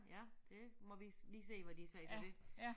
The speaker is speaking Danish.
Ja det må vi lige sige hvad de siger til det